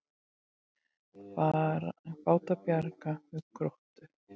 Báti bjargað við Gróttu